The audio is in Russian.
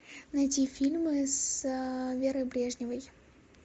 найти фильмы с верой брежневой